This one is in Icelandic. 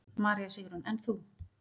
María Sigrún: En þú?